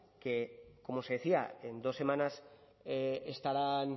que como se decía en dos semanas estarán